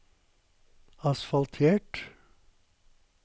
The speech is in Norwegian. asfaltert